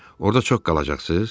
Orda çox qalacaqsız?